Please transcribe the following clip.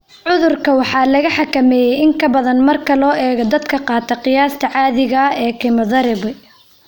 Cudurka waxaa la xakameeyey in ka badan marka loo eego dadka qaata qiyaasta caadiga ah ee kemotherabi.